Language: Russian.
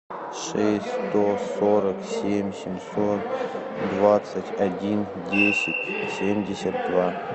шесть сто сорок семь семьсот двадцать один десять семьдесят два